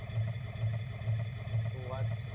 સુ વાત છે